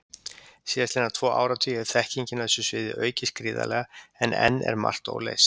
Síðastliðna tvo áratugi hefur þekkingin á þessu sviði aukist gríðarlega, en enn er margt óleyst.